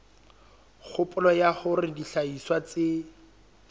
kgopolo ya hore dihlahiswa tse